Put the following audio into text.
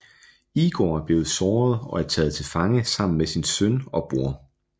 Igor er blevet såret og er taget til fange sammen med sin søn og bror